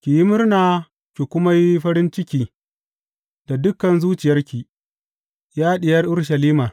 Ki yi murna ki kuma yi farin ciki da dukan zuciyarki, Ya Diyar Urushalima!